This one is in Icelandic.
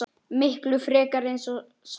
Miklu frekar eins og safn.